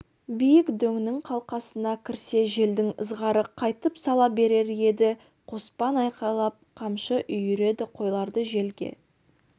биік дөңнің қалқасына кірсе желдің ызғары қайтып сала берер еді қоспан айқайлап қамшы үйіреді қойларды желге